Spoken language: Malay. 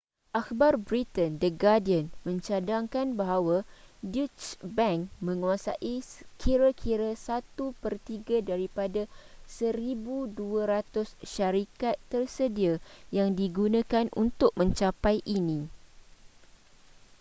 akhbar britain the guardian mencadangkan bahawa deutsche bank menguasai kira-kira satu pertiga daripada 1200 syarikat tersedia yang digunakan untuk mencapai ini